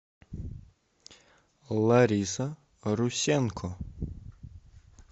лариса русенко